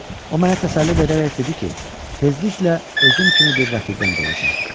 O mənə təsəlli verərək dedi ki, tezliklə özüm kimi bir rəfiqəm də olacaq.